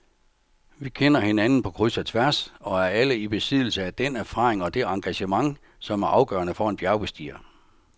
Vi kender hinanden på kryds og tværs og er alle i besiddelse af den erfaring og det engagement, som er afgørende for en bjergbestiger.